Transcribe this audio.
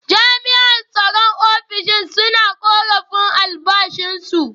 Jami’an tsaron ofishin suna korafin albashinsu.